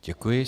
Děkuji.